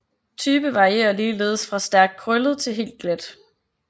Type varierer ligeledes fra stærkt krøllet til helt glat